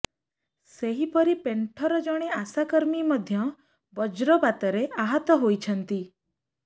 ସେହିପରି ପେଣ୍ଠର ଜଣେ ଅଶାକର୍ମୀ ମଧ୍ୟ ବଜ୍ରପାତରେ ଆହତ ହୋଇଛନ୍ତି